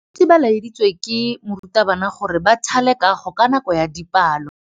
Baithuti ba laeditswe ke morutabana gore ba thale kagô ka nako ya dipalô.